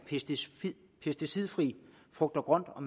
pesticidfrit frugt og grønt og